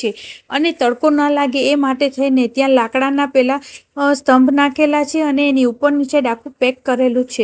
છે અને તડકો ન લાગે એ માટે થઈને ત્યાં લાકડાના પેલા અ સ્તંભ નાખેલા છે અને એની ઉપર આખુ પેક કરેલું છે.